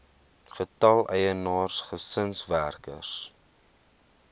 getal eienaars gesinswerkers